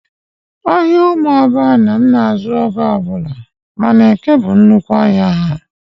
Ahịa Umuoba Anam na-azụ oge ọ bụla mana Eke bụ nnukwu ahịa ya.